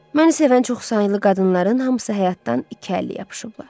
Məni sevən çoxsaylı qadınların hamısı həyatdan iki əlli yapışıblar.